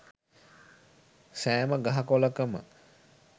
සෑම ගහ කොළකම